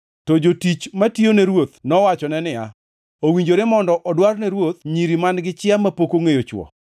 To jotich matiyone ruoth nowachone niya, “Owinjore mondo odwar ne ruoth nyiri man-gi chia mapok ongʼeyo chwo.